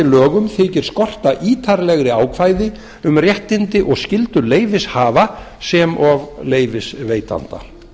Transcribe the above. lögum þykir skorta ítarlegri ákvæði um réttindi og skyldur leyfishafa sem og leyfisveitanda